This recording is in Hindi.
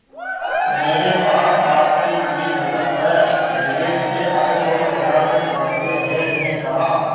मेरे पास आपके लिए विकल्प है विदेश से आए फोटोग्राफर टीम के हेड ने कहा